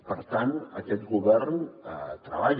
per tant aquest govern treballa